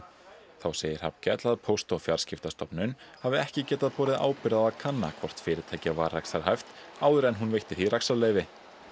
þá segir Hrafnkell að Póst og fjarskiptastofnun hafi ekki getað borið ábyrgð á að kanna hvort fyrirtækið var rekstrarhæft áður en hún veitti því rekstrarleyfi